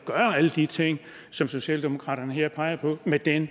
alle de ting som socialdemokratiet her peger på med den